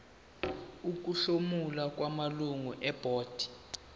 ukuhlomula kwamalungu ebhodi